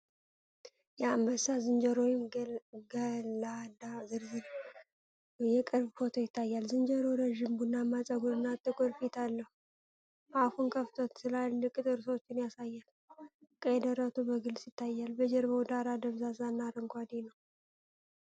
የአንበሳ ዝንጀሮ (ገላዳ) ዝርዝር የቅርብ ፎቶ ይታያል። ዝንጀሮው ረጅም ቡናማ ጸጉርና ጥቁር ፊት አለው። አፉን ከፍቶ ትላልቅ ጥርሶቹን ያሳያል፤ ቀይ ደረቱ በግልጽ ይታያል። የጀርባው ዳራ ደብዛዛና አረንጓዴ ነው።